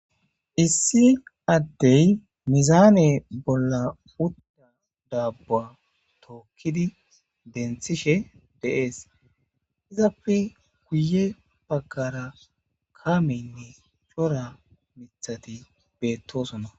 issi addey mizaane bolla utda daabua tookkidi denthishe deees izapfe guye baggara kameynne shora mithati beettosona